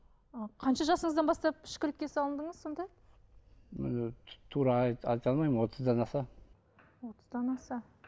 ы қанша жасыңыздан бастап ішкілікке салдыңыз сонда мен і тура алмаймын отыздан аса отыздан аса